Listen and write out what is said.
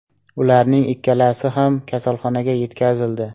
Ularning ikkalasi ham kasalxonaga yetkazildi.